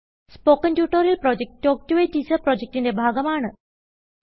spoken tutorial project talk to a teacher പ്രൊജക്റ്റ്ന്റെ ഭാഗമാണ്